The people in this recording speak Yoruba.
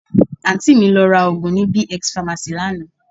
Àǹtí mi lọ ra òògùn ní B-X pharmacy lánàá